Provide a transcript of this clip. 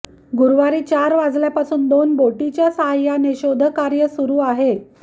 गुरवारी चार वाजल्यापासून दोन बोटीच्या सहाय्याने शोधकार्य सुरु आहे